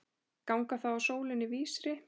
Ganga þá að sólinni vísri.